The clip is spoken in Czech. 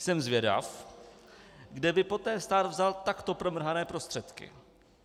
Jsem zvědav, kde by poté stát vzal takto promrhané prostředky.